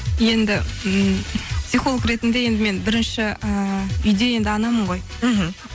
енді ммм психолог ретінде енді мен бірінші ііі үйде енді анамын ғой мхм